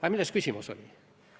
Aga milles küsimus oli?